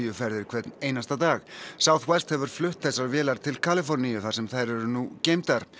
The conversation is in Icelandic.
ferðir hvern einasta dag hefur flutt þessar vélar til Kaliforníu þar sem þær eru nú geymdar